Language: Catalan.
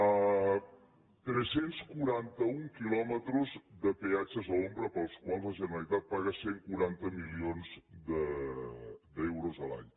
hi ha tres cents i quaranta un quilòmetres de peatges a l’ombra pels quals la generalitat paga cent i quaranta milions d’euros l’any